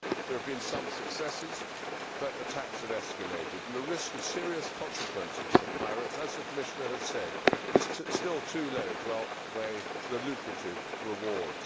There have been some successes, but attacks have escalated and the risk of serious consequences for pirates, as the Commissioner has said, is still too low to outweigh the lucrative rewards.